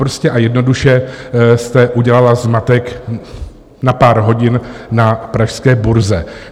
Prostě a jednoduše jste udělala zmatek na pár hodin na pražské burze.